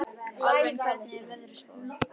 Alvin, hvernig er veðurspáin?